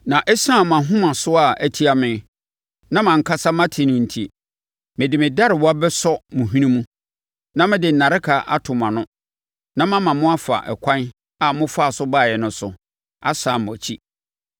Na ɛsiane mo ahomasoɔ a ɛtia me, na mʼankasa mate no enti, mede me darewa bɛsɔ mo hwene mu, na mede nnareka ato mo ano, na mama mo afa ɛkwan a mofaa so baeɛ no so, asane mo akyi.”